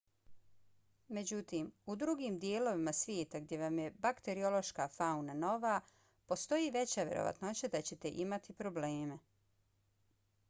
međutim u drugim dijelovima svijeta gdje vam je bakteriološka fauna nova postoji veća vjerovatnoća da ćete imati probleme